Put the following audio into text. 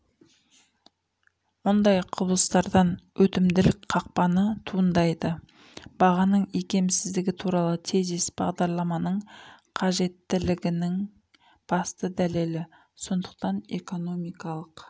мұндай құбылыстардан өтімділік қақпаны туындайды бағаның икемсіздігі туралы тезис бағдарламаның қажеттілігінің басты дәлелі сондықтан экономикалық